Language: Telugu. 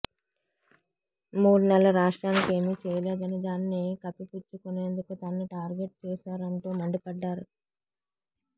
మూడు నెలలు రాష్ట్రానికి ఏమీ చేయలేదని దాన్ని కప్పిపుచ్చుకునేందుకు తనను టార్గెట్ చేశారంటూ మండిపడ్డారు